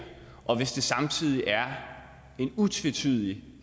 og hvis det samtidig er en utvetydig